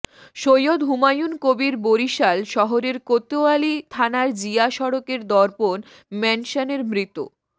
সৈয়দ হুমায়ুন কবির বরিশাল শহরের কোতোয়ালী থানার জিয়া সড়কের দর্পন ম্যানশনের মৃত